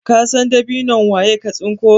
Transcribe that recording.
kasan dabinon waye ka tsinko?